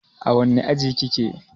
A wanne aji kike?